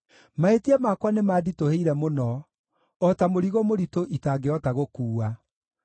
Mahĩtia makwa nĩmanditũhĩire mũno o ta mũrigo mũritũ itangĩhota gũkuua.